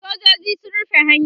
sojoji sun rufe hanyan